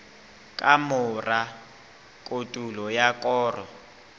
ka mora kotulo ya koro